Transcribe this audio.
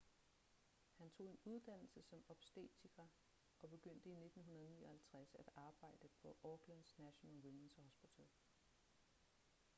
han tog en uddannelse som obstetriker og begyndte i 1959 at arbejde på aucklands national women's hospital